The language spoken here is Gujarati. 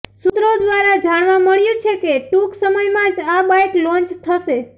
સૂત્રો દ્વારા જાણવા મળ્યું છે કે ટૂંક સમયમાં જ આ બાઇક લોન્ચ થશે